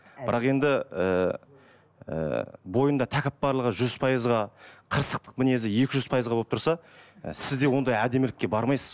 бірақ енді ііі бойындағы тәкаппарлығы жүз пайызға қырсықтық мінезі екі жүз пайыз болып тұрса і сіз де ондай әдемілікке бармайсыз